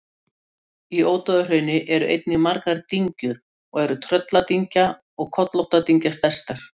Í Ódáðahrauni eru einnig margar dyngjur og eru Trölladyngja og Kollóttadyngja stærstar.